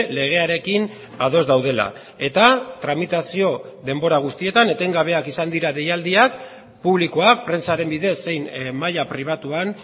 legearekin ados daudela eta tramitazio denbora guztietan etengabeak izan dira deialdiak publikoak prentsaren bidez zein maila pribatuan